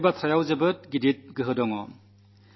ഈ വാക്കുകളിൽ വളരെ വലിയ ശക്തിയുണ്ട്